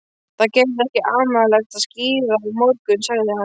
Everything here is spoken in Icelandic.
Það verður ekki amalegt að skíða á morgun, sagði hann.